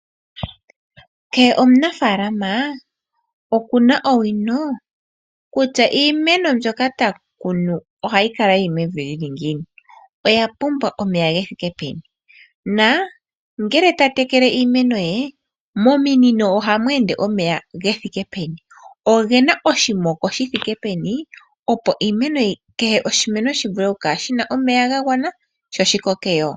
Kehe omunafaalama okuna owino, kutya iimeno mbyoka ta kunu oha yi kala yi li mevi lyi li ngiini. Oya pumbwa omeya ge thike peni na ngele ta tekele iimeno ye, mominino oha mu ende omeya ge thike peni. Ogena oshimoko shi thike peni opo iimeno, kehe oshimeno shi vule oku kala shina omeya ga gwana sho shi koke yo.